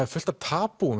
er fullt af